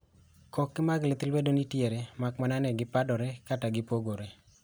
Ckoke mag lith lwedo nitiere kare makmana ni gipadore kata gipogore.